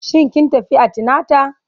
Shin kin tafi antinata?